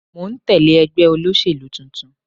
Mò ń tẹ́lẹ̀ ẹgbẹ́ olóṣèlú tuntun.